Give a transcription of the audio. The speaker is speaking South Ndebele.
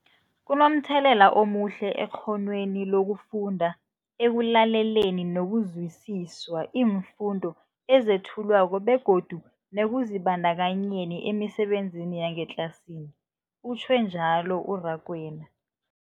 Kunomthelela omuhle ekghonweni lokufunda, ekulaleleni nokuzwisiswa iimfundo ezethulwako begodu nekuzibandakanyeni emisebenzini yangetlasini, utjhwe njalo u-Rakwena.